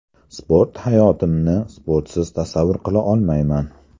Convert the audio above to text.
Sport Hayotimni sportsiz tasavvur qila olmayman.